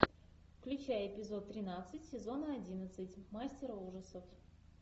включай эпизод тринадцать сезона одиннадцать мастера ужасов